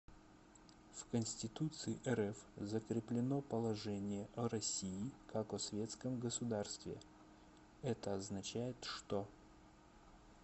в конституции рф закреплено положение о россии как о светском государстве это означает что